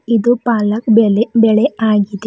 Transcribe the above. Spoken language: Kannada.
ಇದು ಪಾಲಕ್ ಬೆಲೆ ಬೆಳೆ ಆಗಿದೆ.